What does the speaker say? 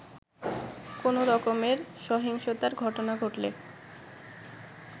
কোন রকমের সহিংসতার ঘটনা ঘটলে